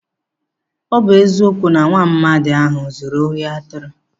Ọ bụ eziokwu na nwaamadi ahụ zuru ohi atụrụ.